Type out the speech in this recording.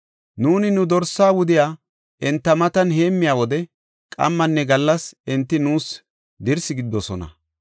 Nuuni nu dorsa wudiya enta matan heemmiya wode, qammanne gallas enti nuus dirsi gididosona.